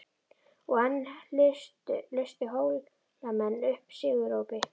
Og enn lustu Hólamenn upp sigurópi.